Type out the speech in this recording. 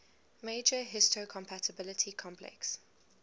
major histocompatibility complex